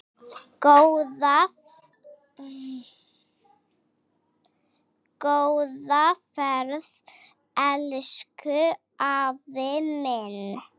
Góða ferð, elsku afi minn.